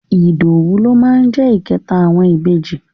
Ìdòwú ló máa jẹ́ ìkẹta àwọn ìbejì.